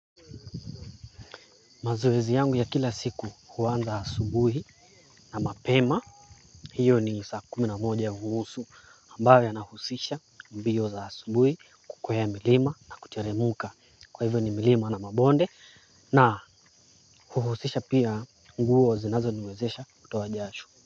Mazoezi yangu ya kila siku huanza asubuhi na mapema. Hiyo ni saa kumi na moja unusu, ambayo inahusisha mbio za asubuhi, kukwea milima na kuteremka. Kwa hivyo ni milima na mabonde na huhusisha pia nguo zinazoniwezesha kutoa jasho.